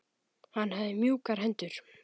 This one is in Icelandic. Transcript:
Hann hafði mjúkar hendur.